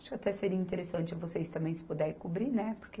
Acho até seria interessante vocês também se puder cobrir, né, porque